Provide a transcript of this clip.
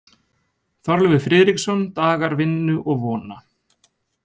Þorleifur Friðriksson: Dagar vinnu og vona.